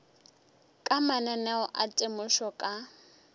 ka mananeo a temošo ka